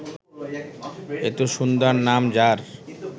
এত সুন্দর নাম যার